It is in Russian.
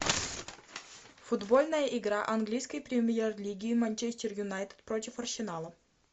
футбольная игра английской премьер лиги манчестер юнайтед против арсенала